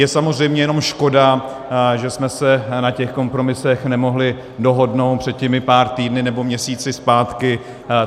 Je samozřejmě jenom škoda, že jsme se na těch kompromisech nemohli dohodnout před těmi pár týdny nebo měsíci zpátky.